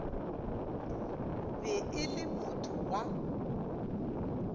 be e le motho wa